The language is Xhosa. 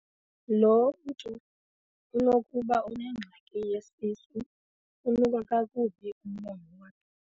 Lo mntu unokuba unengxaki yesisu unuka kakubi umlomo wakhe.